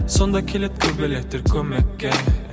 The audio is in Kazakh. сонда келеді көбелектер көмекке